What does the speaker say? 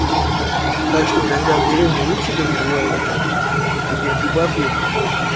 так что иногда в деревне лучше даже бывает оказывается тут хоть ганджубас есть